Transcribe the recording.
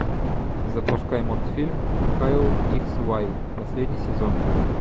запускай мультфильм кайл икс вай последний сезон